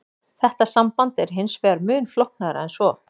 Þetta samband er hins vegar mun flóknara en svo.